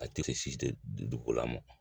A tɛ si dugukola ma